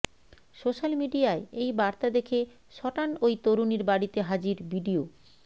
social মিডিয়ায় এই বার্তা দেখে সটান ওই তরুণীর বাড়িতে হাজির বিডিও